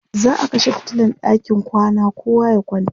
za'a kashe fitilan ɗakin kwana kowa ya kwanta